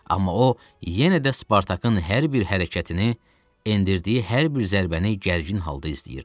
Amma o yenə də Spartakın hər bir hərəkətini, endirdiyi hər bir zərbəni gərgin halda izləyirdi.